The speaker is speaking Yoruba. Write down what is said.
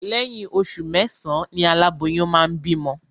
Lẹ́yìn oṣù mẹ́sàán ni aláboyún máa ń bímọ